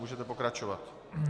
Můžete pokračovat.